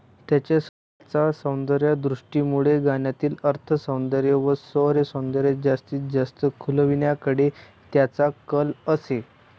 त्यांच्या सौंदर्यदृष्टीमुळे गाण्यातील अर्थसौंदर्य व स्वरसौंदर्य जास्तीत जास्त खुलविण्याकडे त्यांचा कल असे.